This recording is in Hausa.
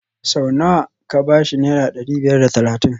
Sau nawa ka ba shi Naira dari biyar da talatin